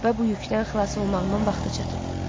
Və bu yükdən xilas olmağımın vaxtı çatıb.